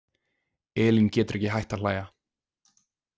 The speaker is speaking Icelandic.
Elín getur ekki hætt að hlæja.